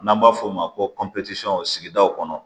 N'an b'a f'o ma ko kɔnpotiyɔn sigidaw kɔnɔ